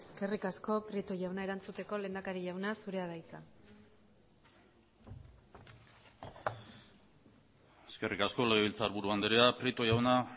eskerrik asko prieto jauna erantzuteko lehendakari jauna zurea da hitza eskerrik asko legebiltzarburu andrea prieto jauna